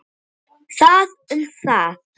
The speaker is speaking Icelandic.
Það um það.